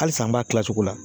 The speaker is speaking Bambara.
Halisa an b'a kila cogo la.